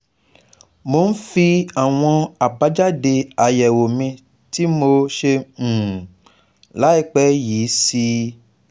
Mo ń fi àwọn abajade ayewo mi tí mo ṣe um ĺàìpẹ́ yìí sí i